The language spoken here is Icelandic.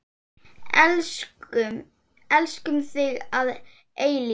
Elskum þig að eilífu.